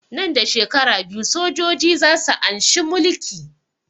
Nan da shekara biyu sojoji za su anshi mulki